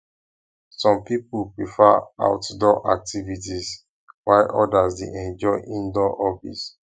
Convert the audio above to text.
some people prefer outdoor activities while others dey enjoy indoor hobbies